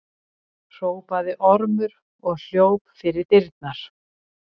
hrópaði Ormur og hljóp fyrir dyrnar.